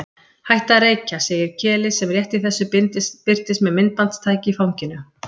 Hætta að reykja, segir Keli sem rétt í þessu birtist með myndbandstæki í fanginu.